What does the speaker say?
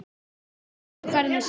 Þetta kom mér í uppnám